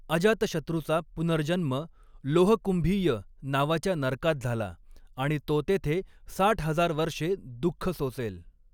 अजातशत्रूचा पुनर्जन्म 'लोहकुंभीय' नावाच्या नरकात झाला आणि तो तेथे साठ हजार वर्षे दुःख सोसेल.